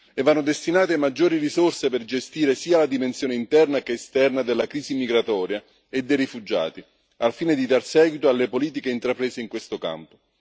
Vanno inoltre destinate maggiori risorse per gestire sia la dimensione interna che quella esterna della crisi migratoria e dei rifugiati, al fine di dar seguito alle politiche intraprese in questo campo.